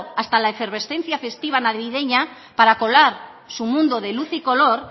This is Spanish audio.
hasta la efervescencia festiva navideña para colar su mundo de luz y color